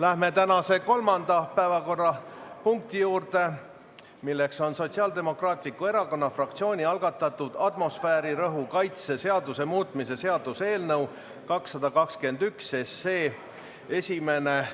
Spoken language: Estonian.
Läheme tänase kolmanda päevakorrapunkti juurde, milleks on Sotsiaaldemokraatliku Erakonna fraktsiooni algatatud atmosfääriõhu kaitse seaduse muutmise seaduse eelnõu 221 esimene